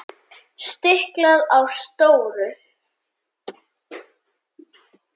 Stiklað á stóru